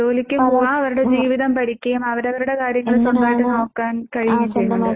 ജോലിക്ക് പോവാം അവരുടെ ജീവിതം പഠിക്കുകയും അവരവരുടെ കാര്യങ്ങൾ സ്വന്തായിട്ട് നോക്കാൻ കഴിയുകയും ചെയ്യുന്നുണ്ട്.